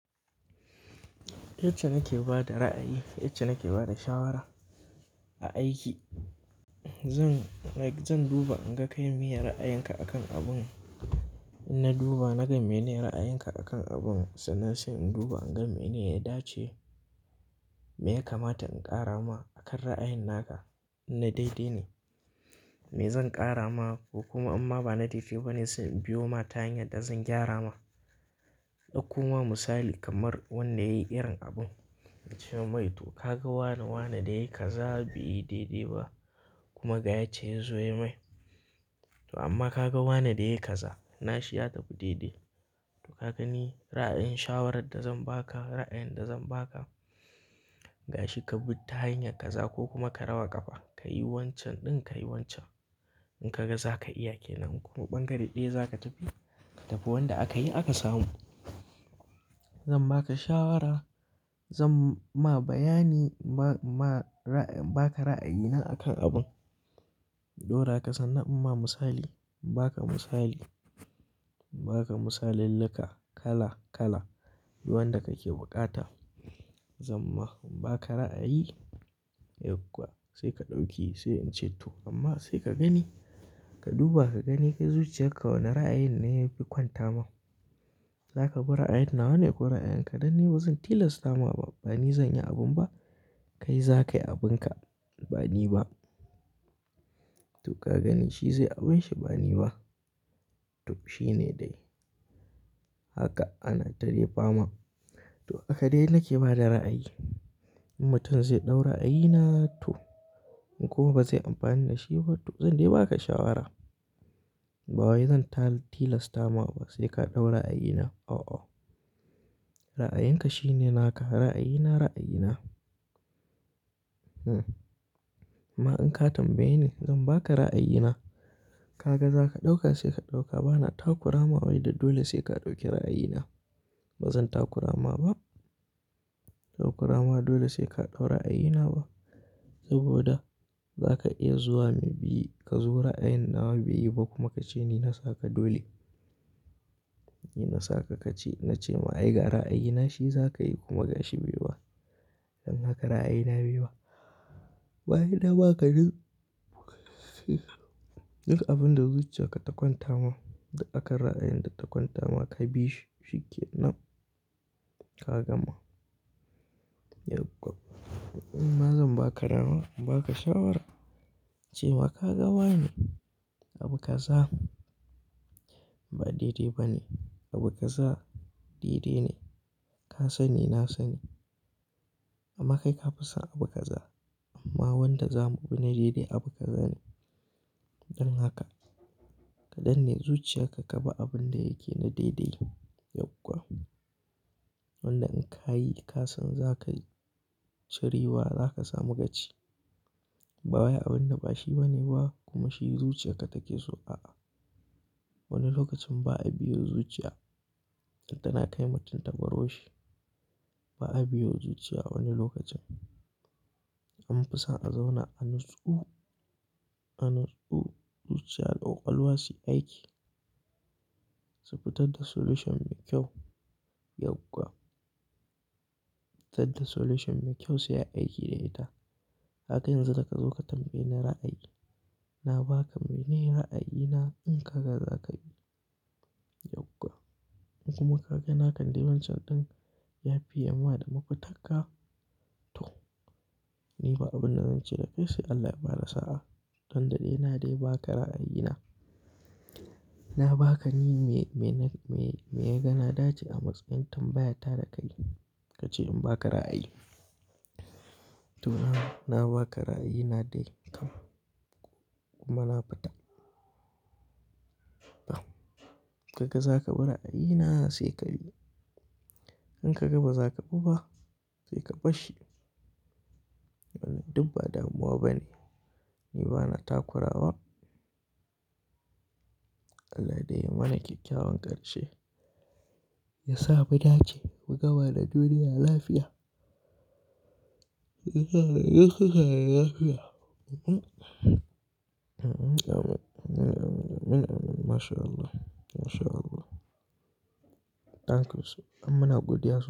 Yacce nake ba da ra'ayi, yace nake ba da shawara a aiki. Zan, like zan duba in ga kai meye ra'ayinka akan abun. In na duba naga mene ra'ayinka akan abun, sannan sai in duba in ga mene ya dace me ya kamata in ƙara ma akan ra'ayin naka. In na daidai ne me zan ƙara ma ko kuma amma ba na daidai banee sai in biyo ma ta hanyar da zan gyara ma. Ɗauko ma misali kamar wanda yayi irin abun na ce mai to ka ga wane wane da yayi kaza bai yi daidai ba kuma ga yacce ya zo ya mai. To amma ka ga wane da yayi kaza na shi ya da tafi daidai. To ka gani ra'ayin shawarar da zan baka, ra'ayin da zan baka ga shi ka bi ta hanyar kaza ko kuma ka raba ƙafa, ka yi wancan ɗin ka yi wancan. In ka ga za ka iya kenan kuma ɓangare ɗaya za ka tafi, ka tafi wanda aka yi aka samu. Zan baka shawara, zan ma bayani inma, inma ra'ayi in baka ra'ayina akan abun. Ɗora ka sannan in ma misali, in baka misali, in baka misalillika kala kala, yi wanda kake buƙata. Zan ma in baka ra'ayi yau kuwa sai ka ɗauki sai in ce to amma sai ka gani, ka duba ka gani kai zuciyarka wane ra'ayin ne yafi kwanta ma. Za ka bi ra'ayin nawa ne ko ra'ayin ka dan ni bazan tilasta ma ba, bani zan yi abun ba. Kai za ka yi abinka, bani ba. To ka gani shi zai abunshi bani ba. To shi ne dai. Haka ana ta dai fama. To haka dai nake ba da ra'ayi. In mutum zai ɗau ra'yina na to in kuma ba zai amfani da shi ba to zan dai baka shawara. Ba wai zan ta tilasta ma ba sai ka ɗaura a'yin na. A'a. Ra'ayinka shine naka, ra'ayina ra'ayina. Hmm. Ma in ka tambaye ni zan baka ra'ayina. Ka ga za ka ɗauka sai ka ɗauka, ba na takurama wai da dole sai ka ɗauki ra'ayina. Ba zan takurawa ba. Takurama dole sai ka ɗaura a'yin na ba. Saboda za ka iya zuwa maybe ka zo ra'ayin nawa bai yi ba kuma ka ce ni na saka dole. Ni na saka ka ce na ce ma ai gara a'yin na shi za ka yi kuma ga shi bai ba. Dan haka ra'ayina bai ba. Ba yi na ba kaɗan duka abin da zuciyarka ta kwanta ma duk akan ra'ayin da ta kwanta ma ka bi shi, shi kenan ka gama yau kwa. In ma zan baka nawa, in baka shawara ce ma ka ga wane abu kaza ba daidai ba ne. Abu kaza daidai ne. Ka sani na sani. Amma kai ka fi son abu kaza amma wanda zamu bi na daidai abu kaza ne. Dan haka ka danne zuciyarka ka bi abin da yake na daidai yau kwa. Wanda in ka yi ka san za ka yi cirewa za ka samu gaci. Ba wai abunda ba shi ba ne ba kuma shi zuciyarka take so, a'a. Wani lokacin ba a biyo zuciya. Tal ta na kai mutum ta baro shi. Ba a biyo zuciya wani lokacin. In ka fi son a zauna a nutsu a nutsu zuciya ta ƙwalwa su yi aiki subfitar da solution mai kyau yau kwa. Tadda solution mai kyau sai ai aiki da ita. Kaga yanzu da ka zo ka tambaye ni ra'ayi, na baka mene ra'ayi na in ka ga za ka yi yau kwa. In kuma ka ga naka dai wancan ɗin ya fiye ma da mafitarka to ni ba abun da zan ce da kai sai Allah ya ba da sa'a. Tunda dai na dai ba ka ra'ayi na. Na ba ka ni me, mene, me, me ya ga na dace a matsayin tambaya ta da ka yi. Ka ce in ba ka ra'ayi. To na, na ba ka ra'ayi na dai kam kuma na fita. To ka ga za ka bi ra'ayi na sai ka bi. In ka ga ba za ka bi ba sai ka bar shi. Wannan duk ba damuwa ba ne. Ni ba na takurawa. Allah dai ya mana kyakkyawan ƙarshe. Yasa mu dace mu gawa da duniya lafiya. Yasa mu gawa duniya lafiya. Mhm. Mhm. Amin. Amin, amin, amin. Masha Allah, masha Allah. Ɗan kasuwa don muna godiya so.